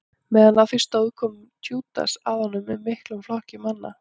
meðan á því stóð kom júdas að honum með miklum flokki manna